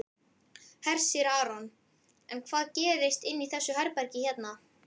Hersir Aron: En hvað gerist inni í þessu herbergi hérna?